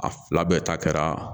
A fila bɛɛ ta kɛra